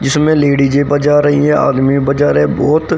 जिसमें लेडिजे बजा रही है आदमी बाजा रहे बहोत--